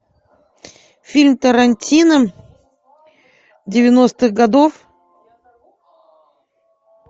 фильм тарантино девяностых годов